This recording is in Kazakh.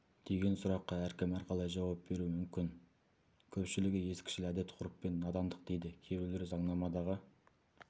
деген сұраққа әркім әрқалай жауап беруі мүмкін көпшілігі ескішіл әдет-ғұрып пен надандық дейді кейбіреулер заңнамадағы